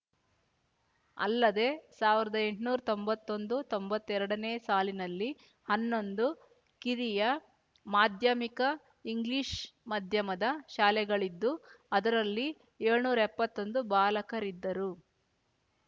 ಅಲ್ಲದೆ ಸಾವಿರ್ದ್ ಎಂಟ್ನೂರ್ ತೊಂಬತ್ತೊಂದುತೊಂಬತ್ತೆರಡನೇ ಸಾಲಿನಲ್ಲಿ ಹನ್ನೊಂದು ಕಿರಿಯ ಮಾಧ್ಯಮಿಕ ಇಂಗ್ಲಿಷ್ ಮಾಧ್ಯಮದ ಶಾಲೆಗಳಿದ್ದು ಅದರಲ್ಲಿ ಯೋಳ್ನೂರ್ ಎಪ್ಪತ್ತೊಂದು ಬಾಲಕರಿದ್ದರು